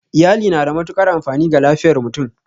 Iyali na da matuƙar amfani ga lafiyar mutum